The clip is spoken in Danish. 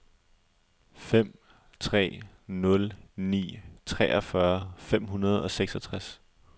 fem tre nul ni treogfyrre fem hundrede og seksogtres